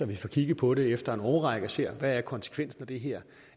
vi får kigget på det efter en årrække og ser hvad konsekvensen af det her